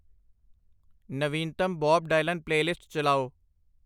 ਨਵੀਨਤਮ Bob Dylan playlist ਚਲਾਓ|